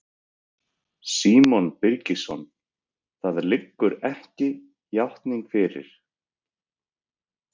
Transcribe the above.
Símon Birgisson: Það liggur ekki játning fyrir?